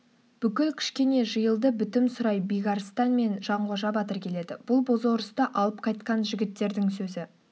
бүкіл кішкене жиылды бітім сұрай бекарыстан мен жанқожа батыр келеді бұл бозорысты алып қайтқан жігіттердің сөзі